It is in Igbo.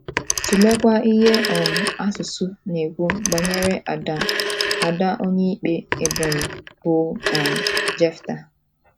Tụleekwa ihe um asusụ na - ekwu banyere ada Onyeikpe Ebonyi bụ́ um Jefta.